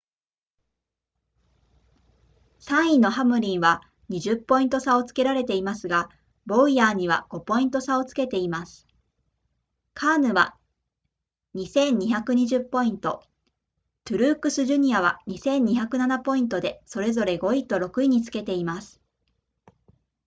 3位のハムリンは20ポイント差をつけられていますがボウヤーには5ポイント差をつけていますカーヌは 2,220 ポイントトゥルークスジュニアは 2,207 ポイントでそれぞれ5位と6位につけています